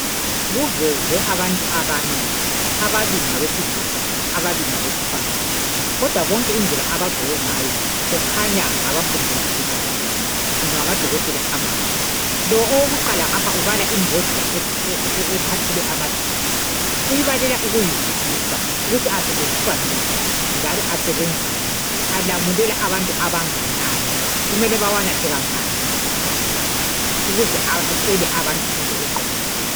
Kuvezwe abantu abane, ababili ngabesilisa ababili ngabesifazana kodwa bonke indlela abagqoke ngayo kukhanya ngabafundela ubudokotela kumbe ngamadokotela amatsha. Lo owokuqala ngapha ubala imbodlela ephathele amaphilisi uyibalela ukuyizwisisa ukuthi asetshenziswa njani njalo asebenza njani, alamulela abantu abanganani, kumele bawanathe kangaki ngasikhathi bani ukuze atshele abantu into eqondileyo.